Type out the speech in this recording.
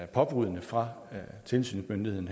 påbuddet fra tilsynsmyndigheden